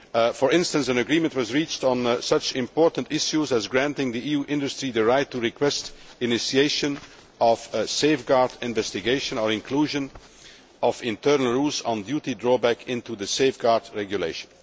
For instance, an agreement was reached on such important issues as granting EU industry the right to request initiation of a safeguard investigation, and the inclusion of internal rules on duty drawback in the safeguard regulation.